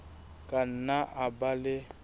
ka nna a ba le